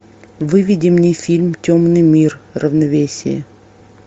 выведи мне фильм темный мир равновесие